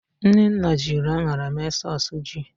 Nnenna jiri aṅara mee sọs ji